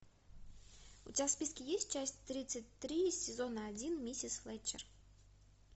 у тебя в списке есть часть тридцать три сезона один миссис флетчер